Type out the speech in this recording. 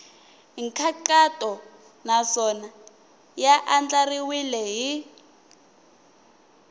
nkhaqato naswona ya andlariwile hi